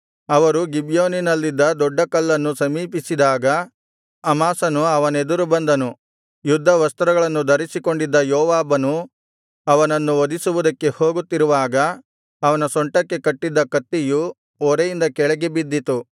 ಅವರು ಗಿಬ್ಯೋನಿನಲ್ಲಿದ್ದ ದೊಡ್ಡ ಕಲ್ಲನ್ನು ಸಮೀಪಿಸಿದಾಗ ಅಮಾಸನು ಅವನೆದುರು ಬಂದನು ಯುದ್ಧವಸ್ತ್ರಗಳನ್ನು ಧರಿಸಿಕೊಂಡಿದ್ದ ಯೋವಾಬನೂ ಅವನನ್ನು ವಧಿಸುವುದಕ್ಕೆ ಹೋಗುತ್ತಿರುವಾಗ ಅವನ ಸೊಂಟಕ್ಕೆ ಕಟ್ಟಿದ ಕತ್ತಿಯೂ ಒರೆಯಿಂದ ಕೆಳಗೆ ಬಿದ್ದಿತು